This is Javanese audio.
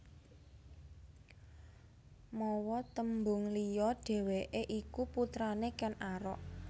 Mawa tembung liya dhèwèké iku putrané Ken Arok